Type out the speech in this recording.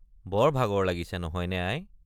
বৰ ভাগৰ লাগিছে নহয় নে আই।